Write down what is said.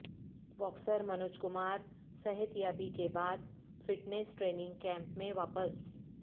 boxer Manoj Kumar صحتیابی کے بعد فٹنس ٹریننگ کیمپ میں واپس